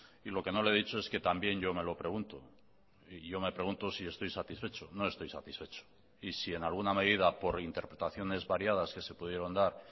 y lo que no le he dicho es que también yo me lo pregunto y yo me pregunto si estoy satisfecho no estoy satisfecho y si en alguna medida por interpretaciones variadas que se pudieron dar